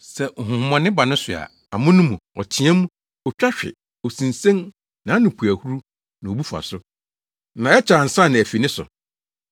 sɛ honhommɔne ba ne so a, amono mu, ɔteɛ mu, otwa hwe, osinsen, nʼano pu ahuru, na obu fa so, na ɛkyɛ ansa na afi ne so.